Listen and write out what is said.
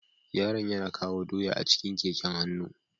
Yaron yana kawo doya a cikin keken hannu.